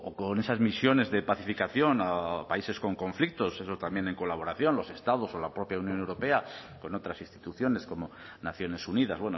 con esas misiones de pacificación a países con conflictos eso también en colaboración los estados o la propia unión europea con otras instituciones como naciones unidas